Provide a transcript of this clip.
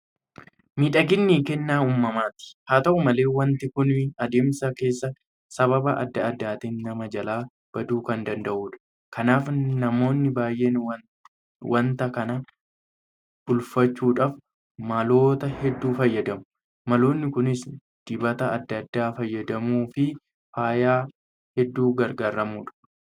Miidhaginni kennaa uumaati. Haata'u malee waanti kun adeemsa keessa sababa adda addaatiin nama jalaa baduu kan danda'udha. Kanaaf namoonni baay'een waanta kana bulfachuudhaaf maloota hedduu fayyadamu. Maloonni kunis dibata adda addaa fayyadamuufi faaya hedduu gargaaramuudha.